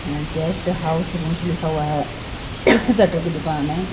Guest house rooms लिखा हुआ हैं स्वेटर की दुकान हैं।